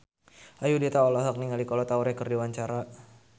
Ayudhita olohok ningali Kolo Taure keur diwawancara